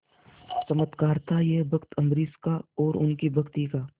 चमत्कार था यह भक्त अम्बरीश का और उनकी भक्ति का